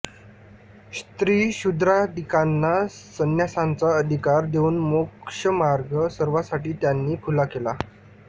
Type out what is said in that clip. स्त्रीशूद्रादिकांना संन्यासाचा अधिकार देऊन मोक्षमार्ग सर्वासाठी त्यांनी खुला केला